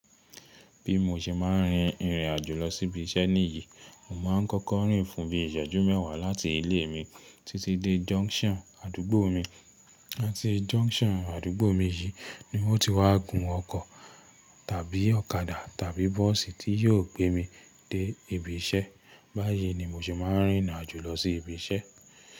Bí mo ṣe máa ń rin ìrìn àjò lọ sí ibi iṣẹ́ níyìí, mo máa ń kọ́kọ́ rìn fún bíi ìṣẹ́jú mẹ́wàá láti ilé mi títí dé jọnṣọn àdúgbò mi. Láti jọnṣọn àdúgbò mi yìí ni wọn ti wá gun ọkọ̀ tàbí ọ̀kadà tàbí bọ́ọ̀sì tí yóò gbé mi dé ibi iṣẹ́. Báyìí ni mo sì máa ń rìn n'àjò lọ sí ibi iṣẹ́.